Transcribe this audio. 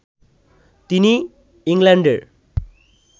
তিনি ইংল্যান্ডের